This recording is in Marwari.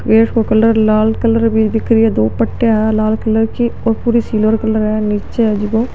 गेट को कलर लाल कलर की दिख रिया दो पट्टीया है लाल कलर की और पूरी सिल्वर कलर है नीचे है जीको --